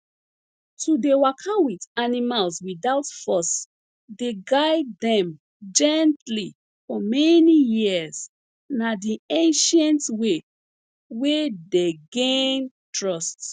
to dey waka with animals without force dey guide dem gently for many years na di ancient way wey dey gain trust